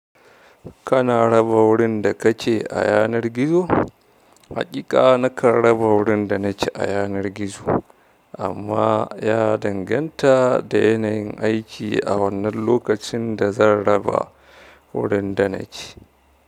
Kana raba wurin da ka ke a yanar gizo? Haƙiƙa na kan raba wurin da na ke a yanar gizo, amma ya danganta da yanayin aiki a wannan lokacin da zan raba wurin da na ke.